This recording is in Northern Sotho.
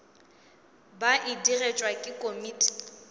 ba e digetšwe ke komiti